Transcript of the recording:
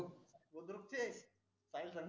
बुद्रुकचे साहिल स